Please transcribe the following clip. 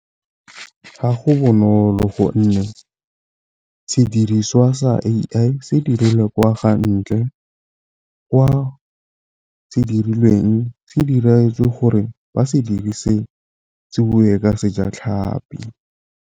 Ga go bonolo gonne sediriswa sa A_I se dirilwe kwa , kwa se dirilweng se diretswe gore ba se dirise bue ka Sejatlhapi.